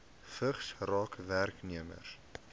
vigs raak werknemers